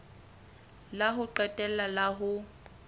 la ho qetela la ho